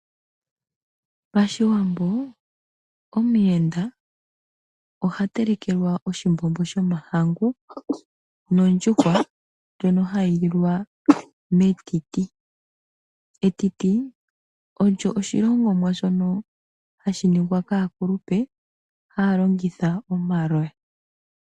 Pashiwambo omuyenda ohatelekelwa oshimbombo shomahangu nondjuhwa ndjono hayi lilwa metiti. Etiti olyo oshilongomwa shono hashiningwa kaakulupe hayalongitha omaloya.